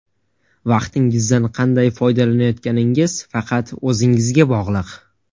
Vaqtingizdan qanday foydalanayotganingiz faqat o‘zingizga bog‘liq.